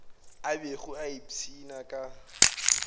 a bego a ipshina ka